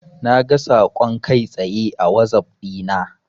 Naga saƙon kai tsaye a wazaf dina.